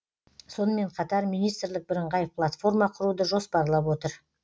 сонымен қатар министрлік бірыңғай платформа құруды жоспарлап отыр